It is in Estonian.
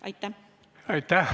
Aitäh!